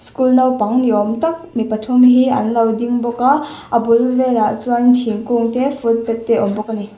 school naupang ni awm tak mi pathum hi an lo ding bawk a a bul velah chuan thingkung te footpath te a awm bawk ani.